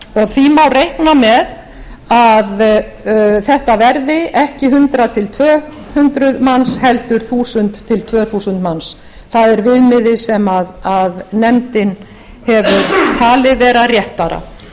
og því má reikna með að þetta verði ekki hundrað tvö hundruð manns heldur þúsund tvö þúsund manns það er viðmiðið sem nefndin hefur talið vera réttara